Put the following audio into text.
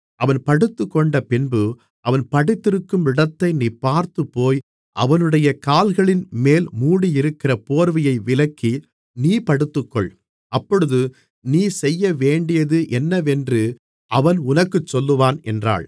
அவன் படுத்துக்கொண்டபின்பு அவன் படுத்திருக்கும் இடத்தை நீ பார்த்து போய் அவனுடைய கால்களின்மேல் மூடியிருக்கிற போர்வையை விலக்கி நீ படுத்துக்கொள் அப்பொழுது நீ செய்யவேண்டியது என்னவென்று அவன் உனக்குச் சொல்லுவான் என்றாள்